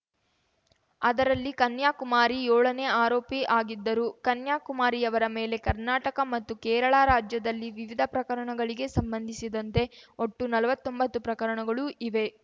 ಅದರಲ್ಲಿ ಕನ್ಯಾಕುಮಾರಿ ಏಳನೇ ಆರೋಪಿ ಆಗಿದ್ದರು ಕನ್ಯಾ ಕುಮಾರಿಯವರ ಮೇಲೆ ಕರ್ನಾಟಕ ಮತ್ತು ಕೇರಳ ರಾಜ್ಯದಲ್ಲಿ ವಿವಿಧ ಪ್ರಕರಣಗಳಿಗೆ ಸಂಬಂಧಿಸದಂತೆ ಒಟ್ಟು ನಲವತ್ತೊಂಬತ್ತು ಪ್ರಕರಣಗಳು ಇವೆ